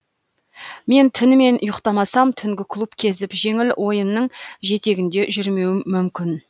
мен түнімен ұйықтамасам түнгі клуб кезіп жеңіл ойынның жетегінде жүрмеуім мүмкін